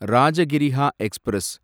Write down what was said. Rajagriha express